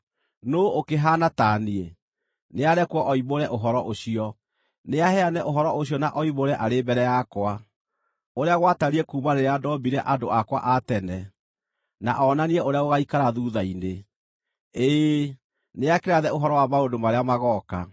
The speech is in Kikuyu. Nũũ ũkĩhaana ta niĩ? Nĩarekwo oimbũre ũhoro ũcio. Nĩaheane ũhoro ũcio na oimbũre arĩ mbere yakwa, ũrĩa gwatariĩ kuuma rĩrĩa ndoombire andũ akwa a tene, na onanie ũrĩa gũgaikara thuutha-inĩ; ĩĩ, nĩakĩrathe ũhoro wa maũndũ marĩa magooka.